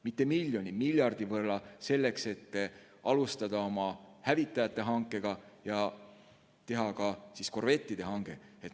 Mitte miljoni, vaid miljardi võrra selleks, et alustada hävitajate hankega ja teha ka korvettide hange.